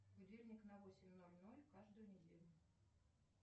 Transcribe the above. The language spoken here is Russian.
будильник на восемь ноль ноль каждую неделю